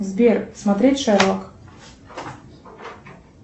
сбер смотреть шерлок